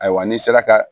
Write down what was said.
Ayiwa n'i sera ka